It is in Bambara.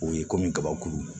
O ye komi kabakuru